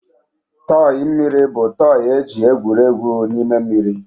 tọị mmiri bụ tọị e ji egwuri egwu n'ime mmiri.